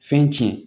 Fɛn tiɲɛ